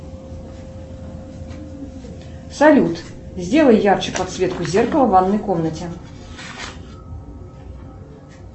салют сделай ярче подсветку зеркала в ванной комнате